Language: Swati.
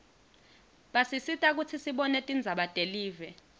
basisita kutsi sibone tindzaba telive